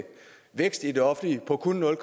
vækst i det offentlige på kun nul